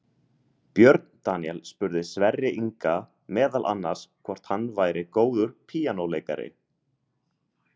Björn Daníel spurði Sverri Inga meðal annars hvort hann væri góður píanóleikari.